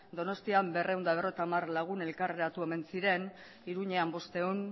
donostian berrehun eta berrogeita hamar lagun elkartu omen ziren iruñean bostehun